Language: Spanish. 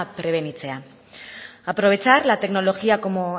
prebenitzea aprovechar la tecnología como